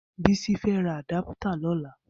Bisi fẹ̀ rà àdàpìtà lọ̀lá